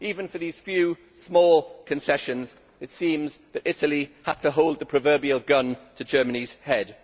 Even for these few small concessions it seems that Italy had to hold the proverbial gun to Germany's head.